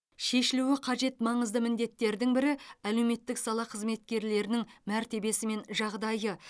шешілуі қажет маңызды міндеттердің бірі әлеуметтік сала қызметкерлерінің мәртебесі мен жағдайы